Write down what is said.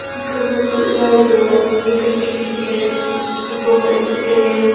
ekha ma putla ajong lahle nikhat khikhi ka apong la chu tai a.